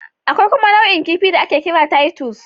Akwai kuma nau'in kifi da ake kira Titus